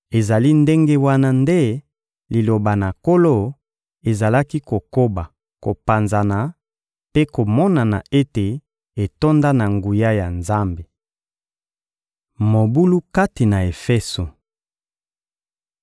Ezali ndenge wana nde Liloba na Nkolo ezalaki kokoba kopanzana mpe komonana ete etonda na nguya ya Nzambe. Mobulu kati na Efeso